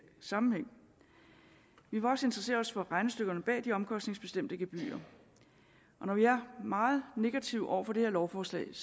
sammenhæng vi vil også interessere os for regnestykkerne bag de omkostningsbestemte gebyrer når vi er meget negative over for det her lovforslag er